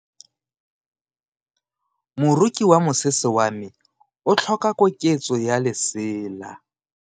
Moroki wa mosese wa me o tlhoka koketso ya lesela.